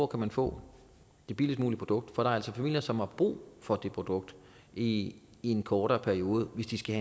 kan få det billigst mulige produkt for der er altså familier som har brug for det produkt i en kortere periode hvis de skal